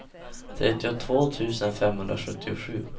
trettiotvå tusen femhundrasjuttiosju